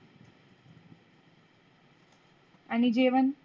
आणी जेवण?